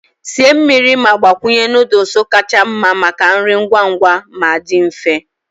Sie mmiri ma gbakwunye noodles kacha mma maka nri ngwa ngwa ma dị mfe.